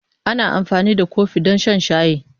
Ana amfani da kofi don shan shayi.